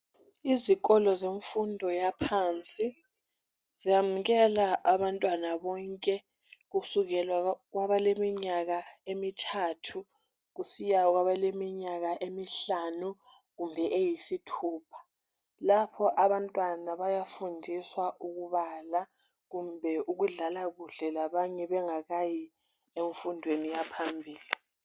Izikolo zemfundo yaphansi ziyamukela abantwana bonke kusukela kwabale minyaka emithathu kusiya kwabaleminyaka emihlanu kumbe eyisithupha lapho abantwana bayafundiswa ukubala kumbe ukudlala kuhle labanye bengakayi emfundweni yaphambili